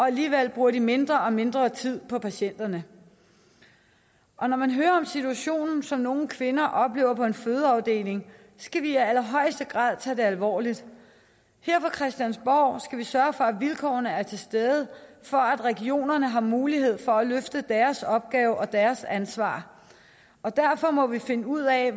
alligevel bruger de mindre og mindre tid på patienterne og når man hører om situationen som nogle kvinder oplever på en fødeafdeling skal vi i allerhøjeste grad tage det alvorligt her på christiansborg skal vi sørge for at vilkårene er til stede for at regionerne har mulighed for at løfte deres opgave og deres ansvar derfor må vi finde ud af